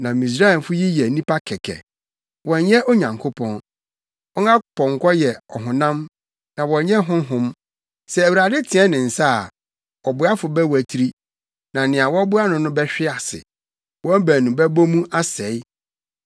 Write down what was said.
Na Misraimfo yi yɛ nnipa kɛkɛ, wɔnyɛ Onyankopɔn. Wɔn apɔnkɔ yɛ ɔhonam na wɔnyɛ honhom. Sɛ Awurade teɛ ne nsa a, ɔboafo bɛwatiri na nea wɔboa no no bɛhwe ase; wɔn baanu bɛbɔ mu asɛe.